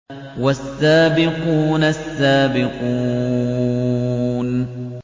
وَالسَّابِقُونَ السَّابِقُونَ